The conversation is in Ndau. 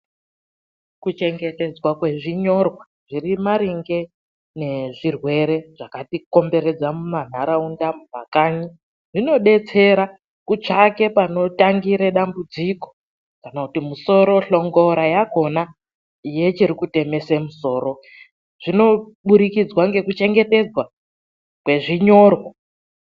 Kuchengetedzwa kwezvinyorwa, zviri maringe ne zvirwere zvakatikomberedza mumantharaunda, mumakanyi. Zvinodetsera kutsvaka panotangira dambudziko kana kuti musoro, hlongora yakhona yechiri kutemesa musoro. Zvinoburikidza ngekuchengetedzwa kwezvinyorwa.